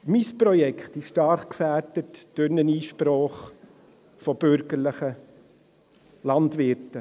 Mein Projekt ist stark gefährdet durch eine Einsprache von bürgerlichen Landwirten.